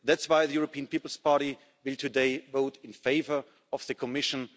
That's why the European People's Party will today vote in favour of the Commission.